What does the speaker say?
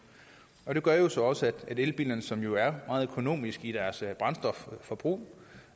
det gør jo så også at elbilerne som jo er meget økonomiske i deres brændstofforbrug